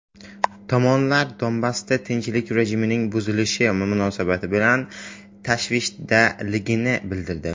Tomonlar Donbassda tinchlik rejimining buzilishi munosabati bilan tashvishdaligini bildirdi.